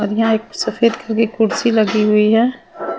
और यहां एक सफेद कुर्सी लगी हुई है .